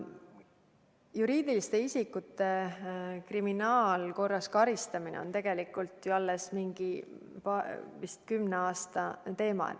Juriidiliste isikute kriminaalkorras karistamine on tegelikult alles mingi kümne aasta teema.